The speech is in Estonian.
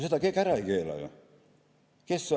Seda keegi ära ei keela.